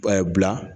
bila